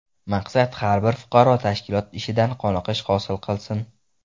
Maqsad har bir fuqaro tashkilot ishidan qoniqish hosil qilsin.